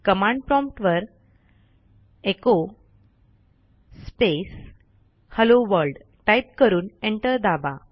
command prompt वरecho space hello world type करून enter दाबा